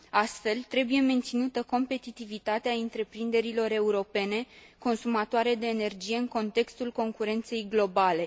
Astfel, trebuie menținută competitivitatea întreprinderilor europene consumatoare de energie, în contextul concurenței globale.